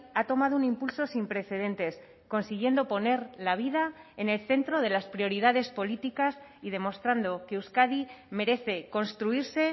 ha tomado un impulso sin precedentes consiguiendo poner la vida en el centro de las prioridades políticas y demostrando que euskadi merece construirse